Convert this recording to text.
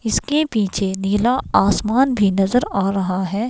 इसके पीछे नीला आसमान भी नजर आ रहा है.